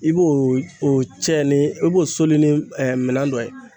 I b'o o cɛn ni i b'o soli ni ɛɛ minɛn dɔ ye